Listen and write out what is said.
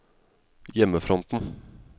hjemmefronten